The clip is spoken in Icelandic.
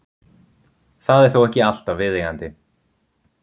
Það er þó ekki alltaf viðeigandi.